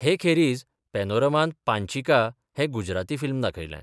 हे खेरीज पेनोरमांत पांचीका हें गुजराती फिल्म दाखयलें.